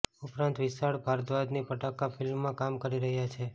ઉપરાંત વિશાળ ભારદ્વાજની પટાખા ફિલ્મમાં કામ કરી રહ્યા છે